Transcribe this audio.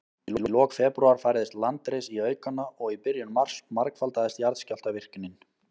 Í lok febrúar færðist landris í aukana, og í byrjun mars margfaldaðist jarðskjálftavirknin.